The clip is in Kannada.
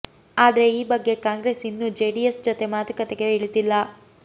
ಆದ್ರೆ ಈ ಬಗ್ಗೆ ಕಾಂಗ್ರೆಸ್ ಇನ್ನೂ ಜೆಡಿಎಸ್ ಜೊತೆ ಮಾತುಕತೆಗೆ ಇಳಿದಿಲ್ಲ